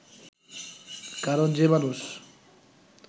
কারণ যে মানুষ